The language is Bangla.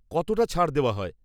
কতটা ছাড় দেওয়া হয়?